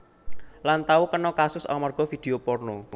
Lan tau kena kasus amarga vidio porno